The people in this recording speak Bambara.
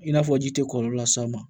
I n'a fɔ ji tɛ kɔlɔlɔ las'a ma